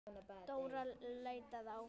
Dóra leitaði áfram.